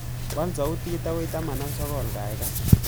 Waal sautit agoi taman ak sogol gaigai